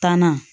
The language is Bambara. Tanna